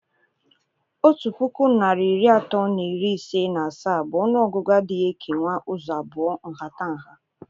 otu puku narị iri atọ na iri ise na asaa bu ọnụọgụgụ adịghị ekenwu ụzọ abụọ nhatanha.